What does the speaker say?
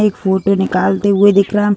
एक फोटो निकालते हुए दिख रहा है।